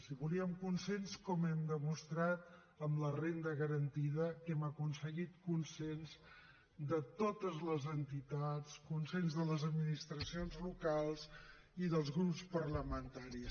i volíem consens com hem demostrat amb la renda garantida que hem aconseguit consens de totes les entitats consens de les administracions locals i dels grups parlamentaris